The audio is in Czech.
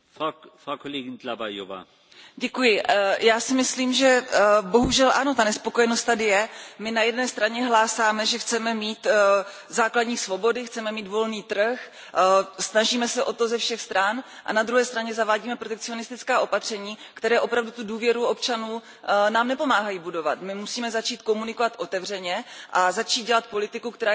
Já si myslím, že bohužel ano, ta nespokojenost tady je, my na jedné straně hlásáme, že chceme mít základní svobody, chceme mít volný trh, snažíme se o to ze všech stran a na druhé straně zavádíme protekcionistická opatření, která nám opravdu nepomáhají budovat důvěru občanů. My musíme začít komunikovat otevřeně a začít dělat politiku, která je založena na konkrétních údajích, na konkrétních